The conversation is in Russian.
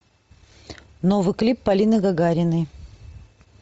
новый клип полины гагариной